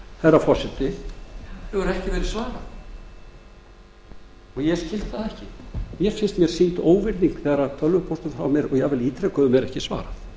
herra forseti hefur ekki verið svarað og ég skil það ekki mér finnst mér sýnd óvirðing þegar tölvupóstum frá mér og jafnvel ítrekuðum er ekki svarað